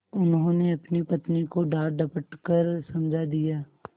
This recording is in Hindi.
उन्होंने अपनी पत्नी को डाँटडपट कर समझा दिया